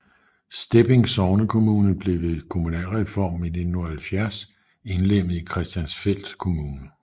Stepping sognekommune blev ved kommunalreformen i 1970 indlemmet i Christiansfeld Kommune